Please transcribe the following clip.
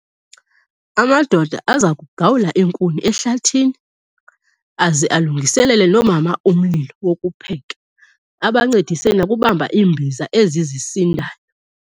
Amadoda aza kugawulwa iinkuni ehlathini aze alungiselele noomama umlilo wokupheka. Abancedise nokubamba iimbiza ezi zisindayo